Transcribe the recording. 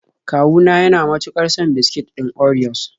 Kawu na yana mutuƙar son biskit ɗin orios.